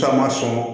Taama sɔn